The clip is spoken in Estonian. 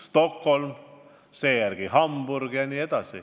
See oli Stockholm, seejärel tuli Hamburg.